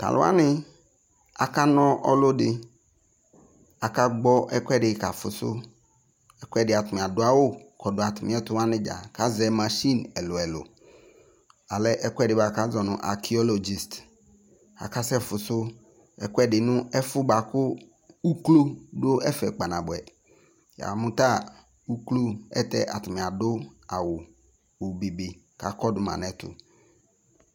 to alò wani aka na ɔlò di aka gbɔ ɛkòɛdi ka fuso ɛkòɛdi atani adu awu kɔdu atami ɛto wani dza k'azɛ mashin ɛlò ɛlò alɛ ɛkò ɛdi boa kò azɔ no akiyologist aka sɛ fuso ɛkòɛdi boa kò uklo do ɛfɛ kpa naboɛ ya mo ta uklo ɛlutɛ atani adu awu obe be k'akɔdu ma n'ɛto